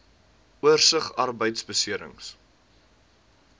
oorsig arbeidbeserings